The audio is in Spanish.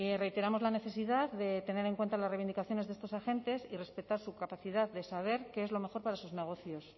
reiteramos la necesidad de tener en cuenta las reivindicaciones de estos agentes y respetar su capacidad de saber qué es lo mejor para sus negocios